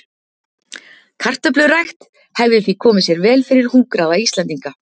kartöflurækt hefði því komið sér vel fyrir hungraða íslendinga